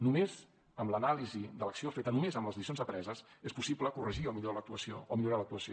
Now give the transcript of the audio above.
només amb l’anàlisi de l’acció feta només amb les lliçons apreses és possible corregir o millorar l’actuació